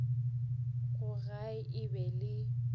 gae e be e le